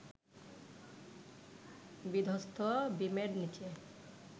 বিধ্বস্ত বিমের নিচে